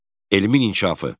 Elmin inkişafı.